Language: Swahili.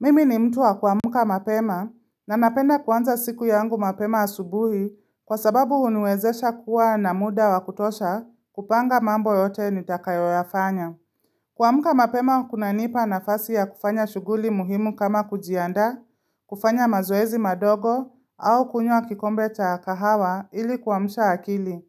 Mimi ni mtu wa kuamka mapema na napenda kuanza siku yangu mapema asubuhi kwa sababu huniwezesha kuwa na muda wa kutosha kupanga mambo yote nitakayoyafanya. Kuamka mapema kunanipa nafasi ya kufanya shughuli muhimu kama kujiandaa, kufanya mazoezi madogo au kunywa kikombe cha kahawa ili kuamsha akili.